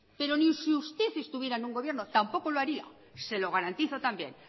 pero ni si usted estuviera en un gobierno tampoco lo haría se lo garantizo también